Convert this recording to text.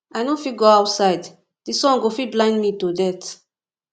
i no fit go outside the sun go fit blind me to death